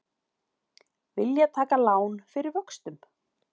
Vilja taka lán fyrir vöxtum